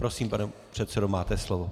Prosím, pane předsedo, máte slovo.